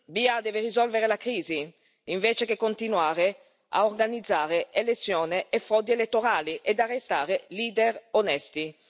Biya deve risolvere la crisi, invece di continuare ad organizzare elezioni e frodi elettorali ed arrestare leader onesti.